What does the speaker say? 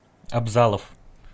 абзалов